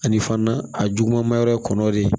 Ani fana a juguman ma yɔrɔ ye kɔnɔ de